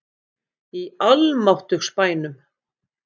Í almáttugs bænum!